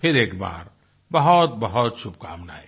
फिर एक बार बहुतबहुत शुभकामनाएं